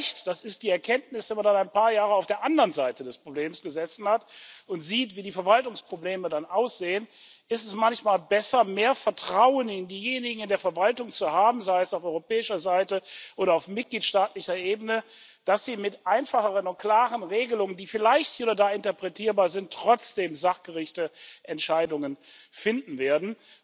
Vielleicht das ist die Erkenntnis, wenn man dann ein paar Jahre auf der anderen Seite des Problems gesessen hat und sieht, wie die Verwaltungsprobleme dann aussehen ist es manchmal besser, mehr Vertrauen in diejenigen in der Verwaltung zu haben sei es auf europäischer Seite oder auf mitgliedstaatlicher Ebene dass sie mit einfacheren und klaren Regelungen, die vielleicht hier oder da interpretierbar sind, trotzdem sachgerechte Entscheidungen finden werden.